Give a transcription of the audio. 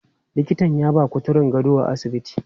Likitan ya ba kuturun gado a asibitin.